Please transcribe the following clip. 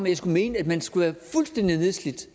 jeg skulle mene at man skal være fuldstændig nedslidt